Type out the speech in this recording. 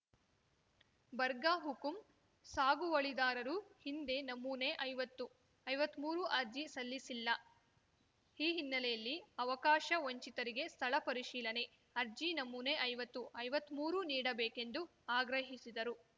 ಬರ್ಗಹುಕುಂ ಸಾಗುವಳಿದಾರರು ಹಿಂದೆ ನಮೂನೆಐವತ್ತು ಐವತ್ಮೂರು ಅರ್ಜಿ ಸಲ್ಲಿಸಿಲ್ಲ ಈ ಹಿನ್ನೆಲೆಯಲ್ಲಿ ಅವಕಾಶ ವಂಚಿತರಿಗೆ ಸ್ಥಳ ಪರಿಶೀಲನೇ ಅರ್ಜಿ ನಮೂನೆ ಐವತ್ತು ಐವತ್ಮೂರು ನೀಡಬೇಕೆಂದು ಆಗ್ರಹಿಸಿದರು